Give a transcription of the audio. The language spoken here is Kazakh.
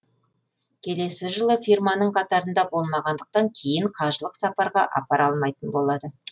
келесі жылы фирманың қатарында болмағандықтан кейін қажылық сапарға апара алмайтын болады